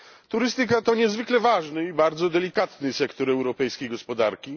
Turystyka to niezwykle ważny i bardzo delikatny sektor europejskiej gospodarki.